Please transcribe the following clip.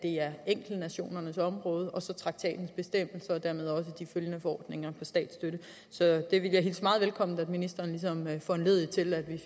enkelte nationers område og traktatens bestemmelser og dermed også de deraf følgende forordninger om statsstøtte så jeg vil hilse det meget velkommen at ministeren ligesom foranlediger at vi